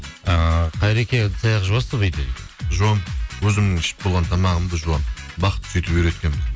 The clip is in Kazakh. ыыы қайреке ыдыс аяқ жуасыз ба үйде дейді жуамын өзімнің ішіп болған тамағымды жуамын бақыт сөйтіп үйреткен